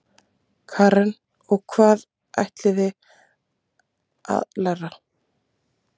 Karen: Og hvað ætlið þið að læra?